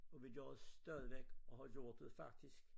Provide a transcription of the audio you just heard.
Og vi gør det stadigvæk og har gjort det faktisk